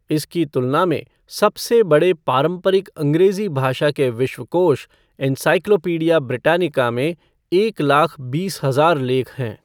इसकी तुलना में, सबसे बड़े पारंपरिक अंग्रेजी भाषा के विश्वकोश, एनसाइक्लोपीडिया ब्रिटानिका में एक लाख बीस हजार लेख हैं।